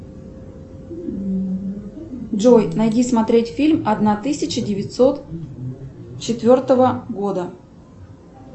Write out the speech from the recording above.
джой найди смотреть фильм одна тысяча девятьсот четвертого года